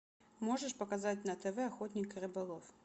можешь показать на тв охотник и рыболов